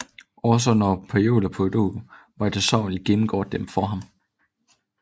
Også når Hercule Poirot møjsommeligt gennemgår dem for ham